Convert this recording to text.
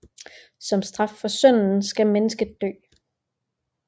Som straf for synden skal mennesket dø